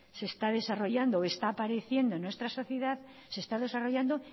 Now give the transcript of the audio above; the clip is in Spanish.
se está desarrollando o está apareciendo en nuestra sociedad se está desarrollando